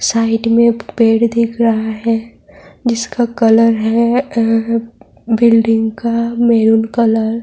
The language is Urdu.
سائیڈ مے پیڈ دیکھ رہا ہے۔ جسکا کلر ہے بلڈنگ کا میروں کلر --